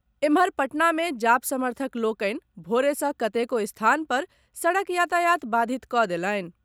एम्हर, पटना मे जाप समर्थक लोकनि भोरे सँ कतेको स्थान पर सड़क यातायात बाधित कऽ देलनि।